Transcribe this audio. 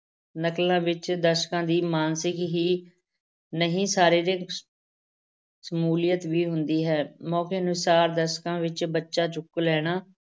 ਨਕਲਾਂ ਵਿੱਚ ਦਰਸ਼ਕਾਂ ਦੀ ਮਾਨਸਿਕ ਹੀ ਨਹੀਂ ਸਰੀਰਿਕ ਸ਼ਮੂਲੀਅਤ ਵੀ ਹੁੰਦੀ ਹੈ, ਮੌਕੇ ਅਨੁਸਾਰ ਦਰਸ਼ਕਾਂ ਵਿੱਚੋਂ ਬੱਚਾ ਚੁੱਕ ਲੈਣਾ,